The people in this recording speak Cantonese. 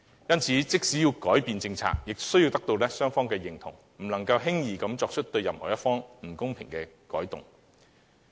因此，即使要改變政策，亦須得到雙方同意，不能輕易地作出對任何一方不公平的舉措。